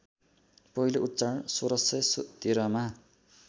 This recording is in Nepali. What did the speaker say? पहिलो उच्चारण १६१३मा